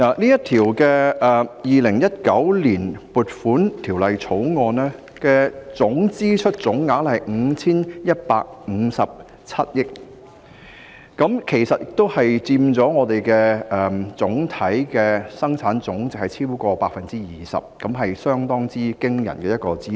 《2019年撥款條例草案》的支出總額是 5,157 億元，佔本地生產總值超過 20%， 是相當驚人的支出。